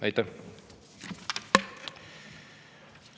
Aitäh!